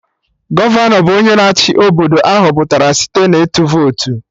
Gọvanọ bụ onye na-achị Obodo, ahọpụtara site na ịtụ votu